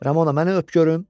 Ramona məni öp görüm.